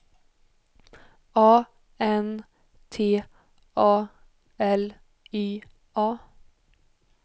A N T A L Y A